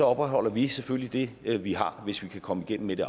opretholder vi selvfølgelig det vi har hvis vi kan komme igennem med